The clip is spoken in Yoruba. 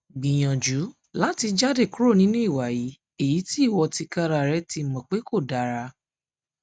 gbiyanju lati jade kuro ninu iwa yii eyiti iwọ tikararẹ ti mọ pe ti mọ pe ko dara